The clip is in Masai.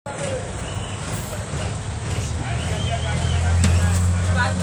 Ore enkiremore kiti keitayu eishoi endaa pee itumia mareita.